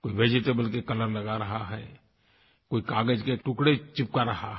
कोई वेजिटेबल के कलर लगा रहा है कोई कागज़ के टुकड़े चिपका रहा है